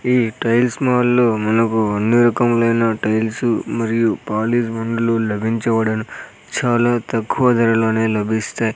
ఈ టైల్స్ మాల్లో మనకు అన్ని రకములైన టైల్స్ మరియు పాలిష్ బండ్లు లభించబడును చాలా తక్కువ ధరలోనే లభిస్తాయి.